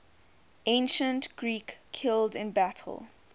ancient greeks killed in battle